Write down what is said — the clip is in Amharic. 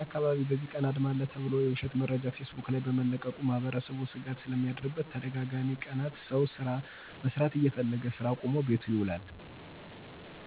በእኛ አካባቢ በእዚህ ቀን አድማ አለ ተብሎ የዉሸት መረጃ ፌስቡክ ላይ በመለቀቁ ማህበረሰቡ ስጋት ስለሚያድርበት ተደጋጋሚ ቀናት ሰዉ ስራ መስራት እየፈለገ ስራ አቁሞ ቤቱ ይዉላል።